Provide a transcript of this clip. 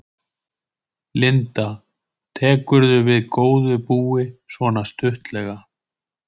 Linda: Tekurðu við góðu búi, svona stuttlega?